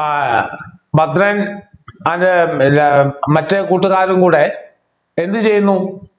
ആഹ് ഭദ്രൻ അതിൻ്റെ എല്ലാ മറ്റേ കൂട്ടുകാരും കൂടെ എന്ത് ചെയ്യുന്നു